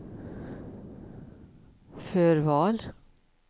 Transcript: förval